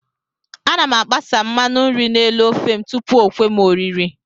Ana m agbasa mmanụ nri n'elu ofe m tupu o kwe m oriri